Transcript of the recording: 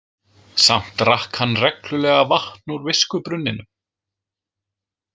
Samt drakk hann reglulega vatn úr viskubrunninum.